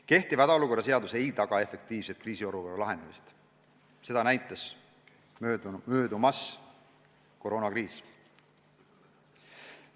Kehtiv hädaolukorra seadus ei taga efektiivset kriisiolukorra lahendamist, nagu koroonakriis on näidanud.